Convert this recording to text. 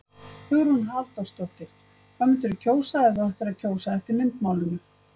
Hugrún Halldórsdóttir: Hvað myndirðu kjósa ef þú ættir að kjósa eftir myndmálinu?